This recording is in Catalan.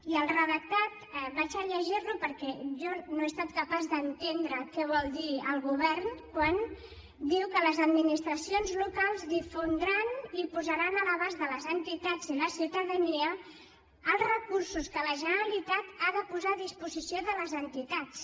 i el redactat el llegiré perquè jo no he estat capaç d’entendre què vol dir el govern quan diu que les administracions locals difondran i posaran a l’abast de les entitats i la ciutadania els recursos que la generalitat ha de posar a disposició de les entitats